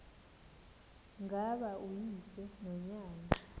ngaba uyise nonyana